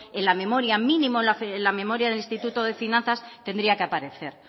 en la memoria mínimo en la memoria del instituto de finanzas tendría que aparecer